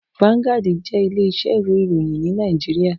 Vanguard jé ilé isẹ́ ìwé ìròyìn ní Naijiria